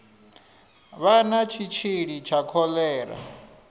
vha na tshitshili tsha kholera